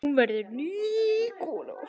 Hún verður ný kona.